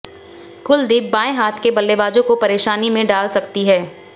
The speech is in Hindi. कुलदीप बायें हाथ के बल्लेबाजों को परेशानी में डाल सकती है